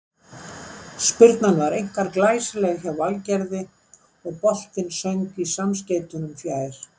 Spyrnan var einkar glæsileg hjá Valgerði og boltinn söng í samskeytunum fjær.